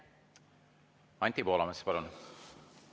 Anti Poolamets, palun!